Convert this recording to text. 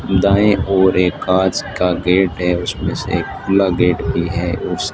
दाईं ओर एक कांच का गेट है उसमें से एक खुला गेट भी है उस--